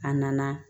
A nana